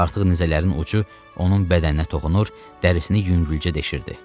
Artıq nizələrinin ucu onun bədəninə toxunur, dərisini yüngülcə deşirdi.